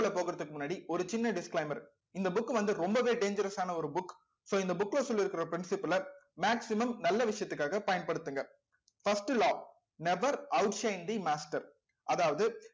உள்ள போக்குறதுக்கு முன்னாடி ஒரு சின்ன disclaimer இந்த book வந்து ரொம்பவே dangerous ஆன ஒரு book so இந்த book ல சொல்லியிருக்கிற maximum நல்ல விஷயத்துக்காக பயன்படுத்துங்க first law never out master அதாவது